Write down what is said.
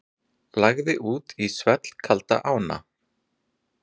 Lagði út í svellkalda ána